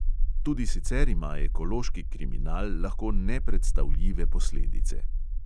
Tudi sicer ima ekološki kriminal lahko nepredstavljive posledice.